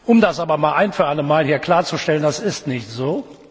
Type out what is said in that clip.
Um das aber ein für allemal hier klarzustellen Das ist nicht so.